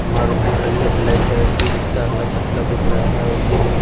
मारुति खड़ी है black colour की जिसका अगला चक्का दिख रहा है और गेट --